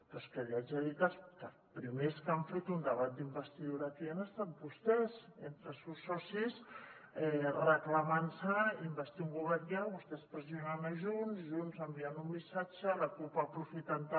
però és que li haig de dir que els primers que han fet un debat d’investidura aquí han estat vostès entre els seus socis reclamant se investir un govern ja vostès pressionant junts i junts enviant un missatge la cup aprofitant ho també